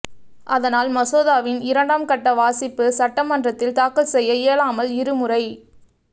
அதனால் மசோதாவின் இரண்டாம் கட்ட வாசிப்பு சட்டமன்றத்தில் தாக்கல் செய்ய இயலாமல் இருமுறை